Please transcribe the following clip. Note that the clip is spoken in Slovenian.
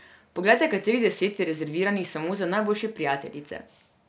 Poglejte, katerih deset je rezerviranih samo za najboljše prijateljice.